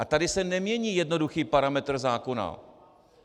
A tady se nemění jednoduchý parametr zákona.